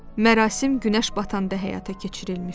Mərasim günəş batanda həyata keçirilmişdi.